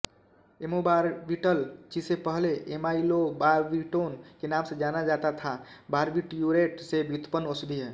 amobarbital जिसे पहले amylobarbitone के नाम से जाना जाता था बार्बिट्यूरेट से व्युतपन्न औषधि है